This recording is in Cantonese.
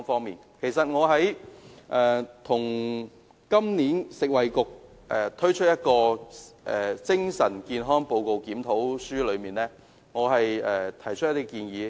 就食物及衞生局今年發表的《精神健康檢討委員會報告》，我曾提出若干建議。